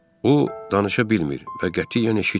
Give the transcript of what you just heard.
O danışa bilmir və qətiyyən eşitmir.